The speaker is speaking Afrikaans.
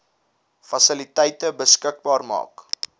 fasiliteite beskikbaar maak